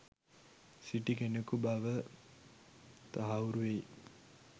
සිටි කෙනකු බව තහවුරු වෙයි.